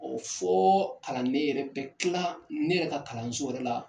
fɔ kalanden yɛrɛ bɛ kila ne yɛrɛ ka kalanso yɛrɛ la.